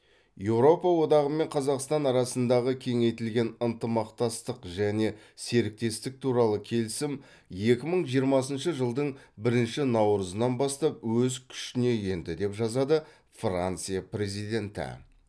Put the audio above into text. еуропа одағы мен қазақстан арасындағы кеңейтілген ынтымақтастық және серіктестік туралы келісім екі мың жиырмасыншы жылдың бірінші наурызынан бастап өз күшіне енді деп жазады франция президенті